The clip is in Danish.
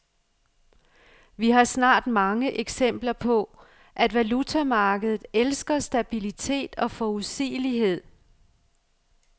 Vi har snart mange eksempler på, at valutamarkedet elsker stabilitet og forudsigelighed.